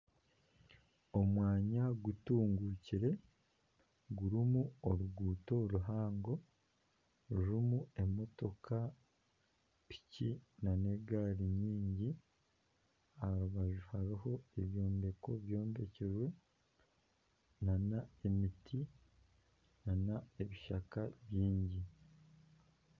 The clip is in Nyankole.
Omwanya gutungukire gurimu oruguuto ruhango rurimu emotoka piki nana egaari aha rubaju hariho ebyombeko byombekire nana emiti nana ebishaka bingi